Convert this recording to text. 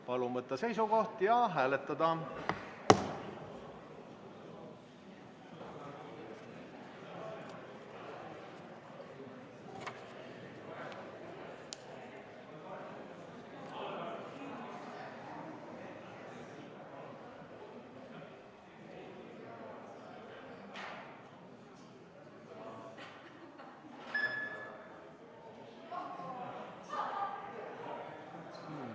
Palun võtta seisukoht ja hääletada!